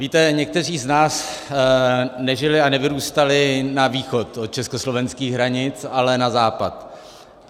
Víte, někteří z nás nežili a nevyrůstali na východ od československých hranic, ale na západ.